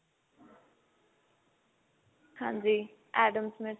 ਹਾਂਜੀ Addams smith